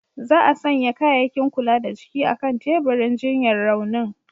Za'a sanya kayakin kula da jiki a'kan teburin jinyar raunin.